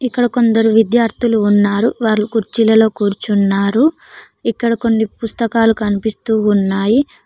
ఇక్కడ కొందరు విద్యార్థులు ఉన్నారు వాళ్ళు కుర్చీలలో కూర్చున్నారు ఇక్కడ కొన్ని పుస్తకాలు కనిపిస్తూ ఉన్నాయి.